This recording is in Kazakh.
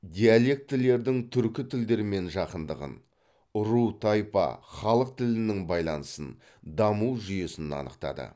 диалектілердің түркі тілдермен жақындығын ру тайпа халық тілінің байланысын даму жүйесін анықтады